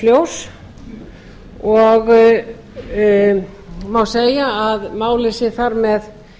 ljós og má segja að málið sé þar með